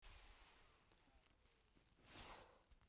Dögg getur átt við